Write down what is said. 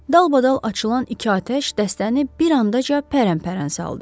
Dalbadal açılan iki atəş dəstəni bir andaca pərəmpərən saldı.